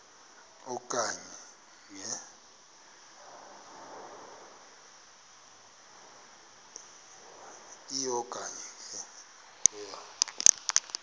e okanye nge